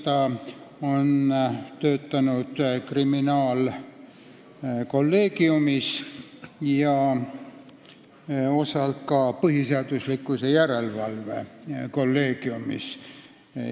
Ta on töötanud kriminaalkolleegiumis ja osa aega ka põhiseaduslikkuse järelevalve kolleegiumis.